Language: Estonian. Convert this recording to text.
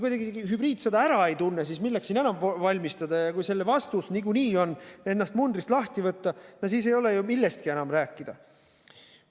Kui te kuidagi hübriidsõda ära ei tunne, siis milleks siin enam valmistuda, ja kui selle vastus on ennast niikuinii mundrist lahti võtta, no siis ei ole ju millestki enam rääkida.